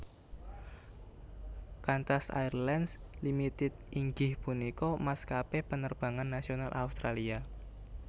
Qantas Airlines Limited inggih punika maskapé penerbangan nasional Australia